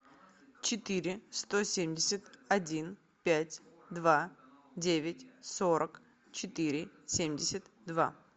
четыре сто семьдесят один пять два девять сорок четыре семьдесят два